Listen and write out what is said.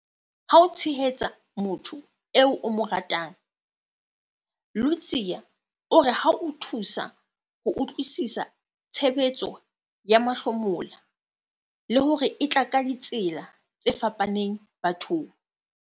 Ha o tshehetsa motho eo o mo ratang, Ludziya o re ho a thusa ho utlwisisa tshebetso ya mahlomola, le hore e tla ka ditsela tse fapaneng bathong.